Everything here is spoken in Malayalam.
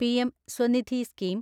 PM Svanidhi scheme